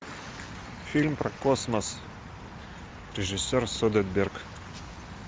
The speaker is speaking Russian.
фильм про космос режиссер содерберг